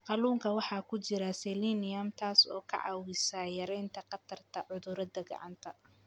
Kalluunka waxaa ku jira selenium, taas oo ka caawisa yaraynta khatarta cudurada gacanta.